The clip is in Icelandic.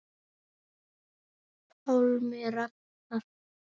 Pálmi Ragnar.